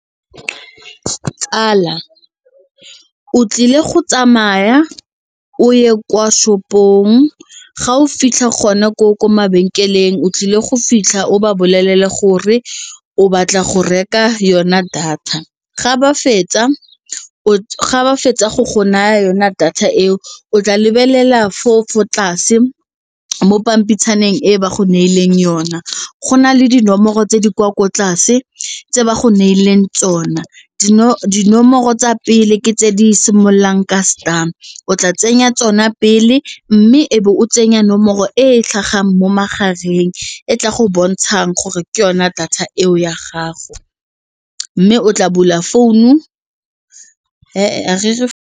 Tsala, o tlile go tsamaya o ye kwa shop-ong ga o fitlha gona koo ko mabenkeleng o tlile go fitlha o ba bolelele gore o batla go reka yona data, ga ba fetsa go go naya yona data eo o tla lebelela foo fo tlase mo pampitshana teng e ba go neileng yona go na le dinomoro tse di kwa ko tlase tse ba go neileng tsona dinomoro tsa pele ke tse di simololang ka star o tla tsenya tsona pele mme e be o tsenya nomoro e e tlhagang mo magareng e tla go bontshang gore ke yona data eo ya gago mme o tla bula founu .